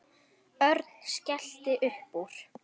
Örn skellti upp úr.